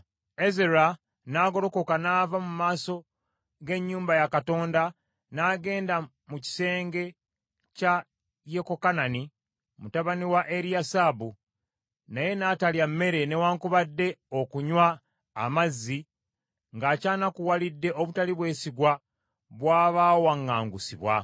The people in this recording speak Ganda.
Ezera n’agolokoka n’ava mu maaso g’ennyumba ya Katonda n’agenda mu kisenge kya Yekokanani mutabani wa Eriyasibu, naye n’atalya mmere newaakubadde okunywa amazzi ng’akyanakuwalidde obutali bwesigwa bw’abaawaŋŋangusibwa.